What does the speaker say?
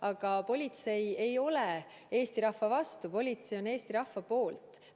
Aga politsei ei ole Eesti rahva vastu, politsei on Eesti rahva poolt.